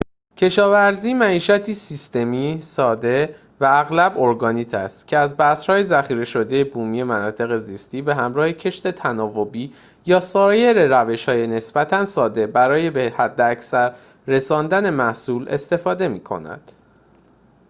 کشاورزی معیشتی سیستمی ساده و اغلب ارگانیک است که از بذرهای ذخیره‌شده بومی مناطق زیستی به همراه کشت تناوبی یا سایر روش‌های نسبتاً ساده برای به حداکثر رساندن محصول استفاده می‌کند